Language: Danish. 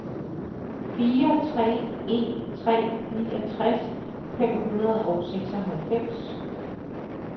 fire tre en tre niogtres fem hundrede og seksoghalvfems